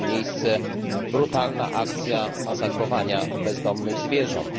ma miejsce brutalna akcja masakrowania bezdomnych zwierząt.